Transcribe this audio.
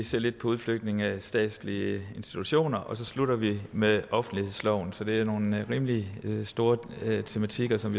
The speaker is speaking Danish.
se lidt på udflytningen af statslige institutioner og så slutter vi af med offentlighedsloven så det er nogle rimelig store tematikker som